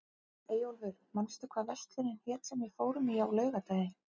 Eyjólfur, manstu hvað verslunin hét sem við fórum í á laugardaginn?